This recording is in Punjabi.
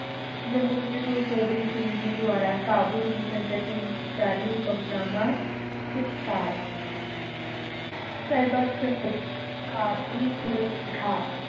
ਨਮੂਨੇ ਗੁਰੂ ਗੋਬਿੰਦ ਸਿੰਘ ਜੀ ਦੁਆਰਾ ਕਾਬੁਲ ਦੀ ਸੰਗਤਿ ਨੂੰ ਜਾਰੀ ਹੁਕਮਨਾਮਾ ਸਤਿਕਾਰ ਸਰਬਤ ਸੰਗਤ ਕਾਬੁਲ